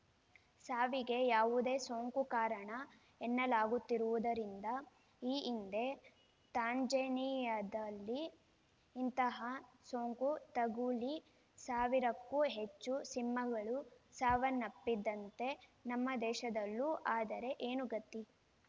ಸಾವಿಗೆ ಯಾವುದೋ ಸೋಂಕು ಕಾರಣ ಎನ್ನಲಾಗುತ್ತಿರುವುದರಿಂದ ಈ ಹಿಂದೆ ತಾಂಜೇನಿಯಾದಲ್ಲಿ ಇಂತಹ ಸೋಂಕು ತಗುಲಿ ಸಾವಿರಕ್ಕೂ ಹೆಚ್ಚು ಸಿಂಹಗಳು ಸಾವನ್ನಪ್ಪಿದ್ದಂತೆ ನಮ್ಮ ದೇಶದಲ್ಲೂ ಆದರೆ ಏನು ಗತಿ